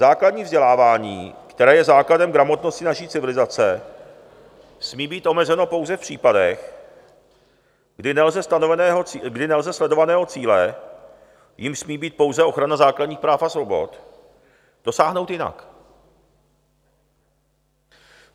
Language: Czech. Základní vzdělávání, které je základem gramotnosti naší civilizace, smí být omezeno pouze v případech, kdy nelze sledovaného cíle, jímž smí být pouze ochrana základních práv a svobod, dosáhnout jinak.